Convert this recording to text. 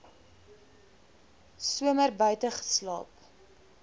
somer buite geslaap